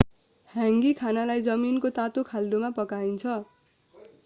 ह्याङ्गी खानालाई जमिनको तातो खाल्डोमा पकाइन्छ